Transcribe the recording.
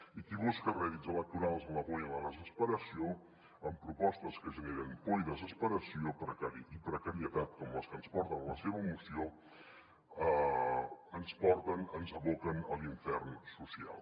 i qui busca rèdits electorals en la por i en la desesperació amb propostes que generen por i desesperació i precarietat com les que ens porten en la seva moció ens porta ens aboca a l’infern social